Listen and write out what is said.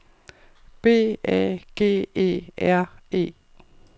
B A G E R E